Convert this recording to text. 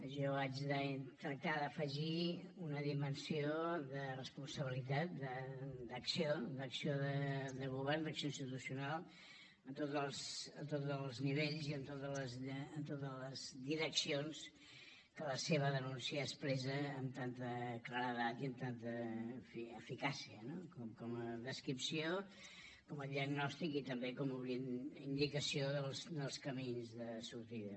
jo haig de tractar d’afegir una dimensió de responsabilitat d’acció d’acció de govern d’acció institucional en tots els nivells i en totes les direccions que la seva denúncia expressa amb tanta claredat i amb tanta en fi eficàcia no com a descripció com a diagnòstic i també com a indicació dels camins de sortida